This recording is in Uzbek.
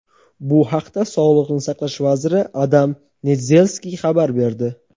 Bu haqda Sog‘liqni saqlash vaziri Adam Nedzelskiy xabar berdi.